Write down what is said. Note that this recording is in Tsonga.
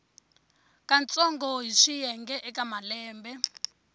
katsongo hi swiyenge eka malembe